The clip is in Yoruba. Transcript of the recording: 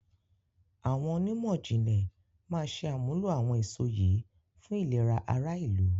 Àwọn onímọ̀jìnlẹ̀ máa ṣe àmúlò àwọn èso yìí fún ìlera ara ìlú